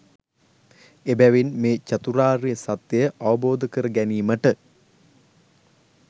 එබැවින් මේ චතුරාර්ය සත්‍යය අවබෝධ කරගැනීමට